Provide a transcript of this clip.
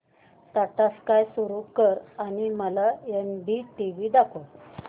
Tata Sky सुरू कर आणि मला एनडीटीव्ही दाखव